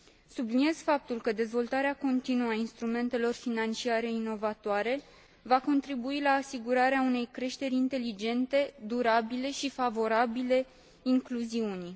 Subliniez faptul că dezvoltarea continuă a instrumentelor financiare inovatoare va contribui la asigurarea unei creșteri inteligente, durabile și favorabile incluziunii.